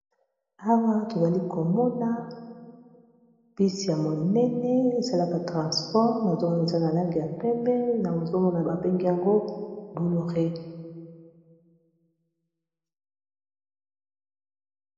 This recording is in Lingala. Awa tozali komona bus ya monene esalaka transport nazo mona eza na langi ya pembe nazomona ba bengi yango Boloree.